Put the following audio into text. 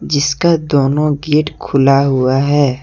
जिसका दोनों गेट खुला हुआ है।